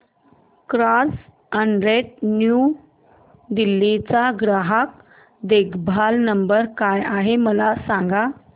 Carzonrent new Delhi चा ग्राहक देखभाल नंबर काय आहे मला सांग